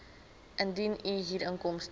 indien u huurinkomste